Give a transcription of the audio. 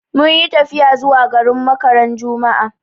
Mun yi tafiya zuwa garin Makka ran juma'a